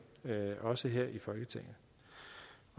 også her i folketinget